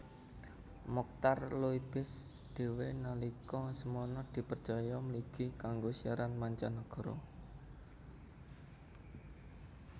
Mochtar Loebis dhéwé nalika semana dipercaya mligi kanggo siaran mancanagara